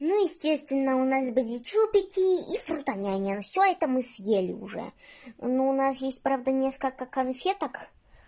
ну естественно у нас были чупики и фрутоняня все это мы съели уже но у нас есть правда несколько конфеток